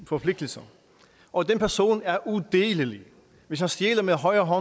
forpligtelser og den person er udelelig hvis han stjæler med højre